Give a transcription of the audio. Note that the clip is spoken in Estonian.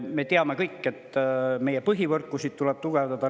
Me teame kõik, et meie põhivõrkusid tuleb tugevdada.